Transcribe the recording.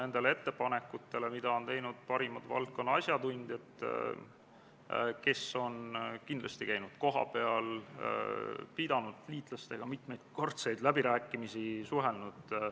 Muudatusettepanekute esitamise tähtajaks, mis oli k.a 9. oktoobril kell 17.15, eelnõu kohta väljastpoolt juhtivkomisjoni ühtegi muudatusettepanekut ei esitatud.